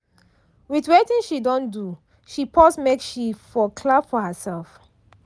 with wetin she don do she pause make she for clap for herself.